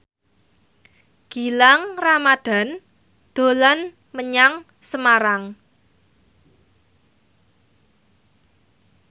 Gilang Ramadan dolan menyang Semarang